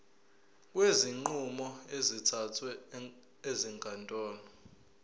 kwezinqumo ezithathwe ezinkantolo